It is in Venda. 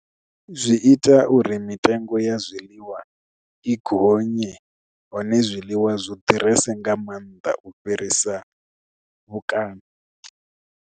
Zwi ita uri mitengo ya zwiḽiwa i gonye hone zwiḽiwa zwi ḓurese nga maanḓa u fhirisa mukano.